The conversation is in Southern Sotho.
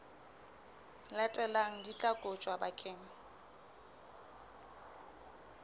latelang di tla kotjwa bakeng